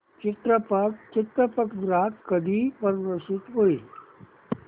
चित्रपट चित्रपटगृहात कधी प्रदर्शित होईल